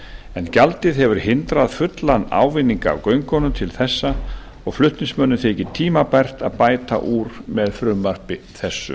en gjaldið hefur hindrað fullan ávinning af göngunum til þessa og flutningsmönnum þykir tímabært að bæta úr með frumvarpi þessu